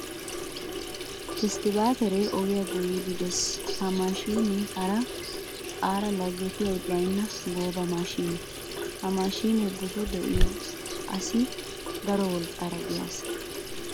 Iskkabaateree ogiya goyiiddi dees. Ha maashinee hara aata laggetiyay baynna gooba maashine. Ha maashinee buzo de'iyo asi daro wolqqaara de'iya asa.